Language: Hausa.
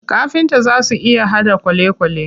Kafinta zaa su iya haɗa kwalekwale.